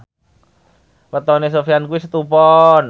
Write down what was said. wetone Sofyan kuwi Setu Pon